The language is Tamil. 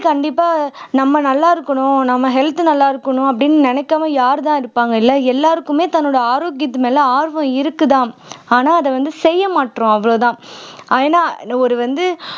கண்டிப்பா நம்ம நல்லா இருக்கணும் நம்ம health நல்லா இருக்கணும் அப்படின்னு நினைக்காம யார் தான் இருப்பாங்க இல்லை எல்லாருக்குமே தன்னோட ஆரோக்கியத்து மேலே ஆர்வம் இருக்குதாம் ஆனா அதை வந்து செய்ய மாட்றோம் அவ்வளவுதான் ஏன்னா ஒரு வந்து